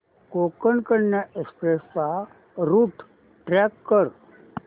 Konkan Kanya express चा route track कर